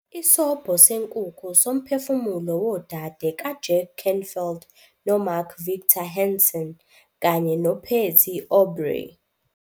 Isobho Senkukhu Somphefumulo Wodade kaJack Canfield noMark Victor Hansen kanye noPatty Aubery